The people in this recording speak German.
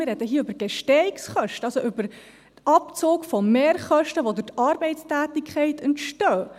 Wir reden hier über Gestehungskosten, also über den Abzug von Mehrkosten, die durch die Arbeitstätigkeit entstehen.